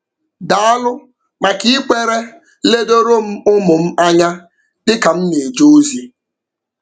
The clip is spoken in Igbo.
Daalụ maka ikwere ledoro m ụmụ m anya dị ka m na-eje ozi.